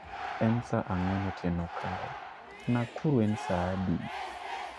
En saa ang'wen otieno kae. Nakuru en saa adi?